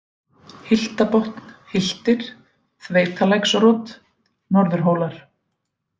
Hyltabotn, Hyltir, Þveitalæksrot, Norðurhólar